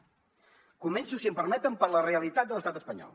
començo si m’ho permeten per la realitat de l’estat espanyol